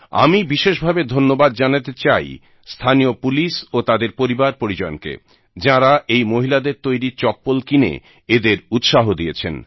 আমি বিশেষ ভাবে ধন্যবাদ জানাতে চাই স্থানীয় পুলিশ ও তাদের পরিবার পরিজনকে যারা এই মহিলাদের তৈরী চপ্পল কিনে এদের উৎসাহ দিয়েছেন